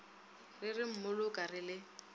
re re mmoloka re le